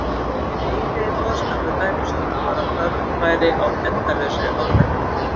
En hinn eiginlegi boðskapur dæmisögunnar var að þörf væri á endalausri árvekni.